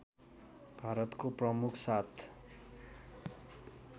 भारतको प्रमुख सात